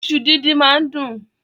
Ìṣu dídín máá ń dùn.